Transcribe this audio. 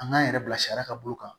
An k'an yɛrɛ bila sariya ka bolo kan